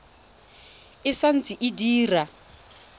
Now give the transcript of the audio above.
e sa ntse e dira